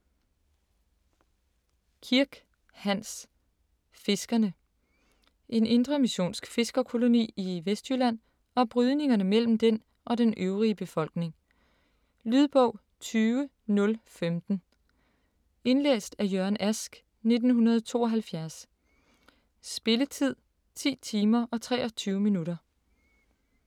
Kirk, Hans: Fiskerne En indremissionsk fiskerkoloni i Vestjylland og brydningerne mellem den og den øvrige befolkning. Lydbog 20015 Indlæst af Jørgen Ask, 1972. Spilletid: 10 timer, 23 minutter.